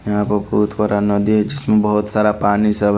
यहाँ पर बहोत बड़ा नदी है जिसमे बहुत सारा पानी सब--